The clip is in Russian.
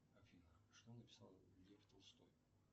афина что написал лев толстой